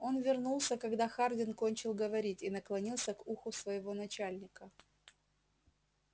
он вернулся когда хардин кончил говорить и наклонился к уху своего начальника